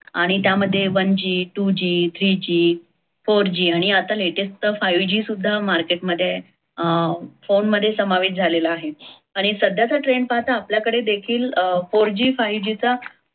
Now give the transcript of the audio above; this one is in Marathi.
आणि त्यामध्ये one g, two g, three g, four g आणि आता latest five g सुद्धा market मध्ये अं phone मध्ये समावेश झालेल आहे. आणि सध्याचा trend पाहता आपल्या कडे देखील four g, five g चा